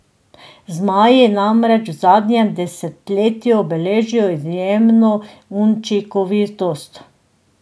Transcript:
Zmaji namreč v zadnjem desetletju beležijo izjemno učinkovitost.